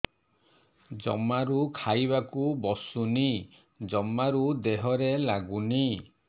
ଜମାରୁ ଖାଇବାକୁ ବସୁନି ଜମାରୁ ଦେହରେ ଲାଗୁନି